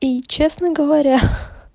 и честно говоря ха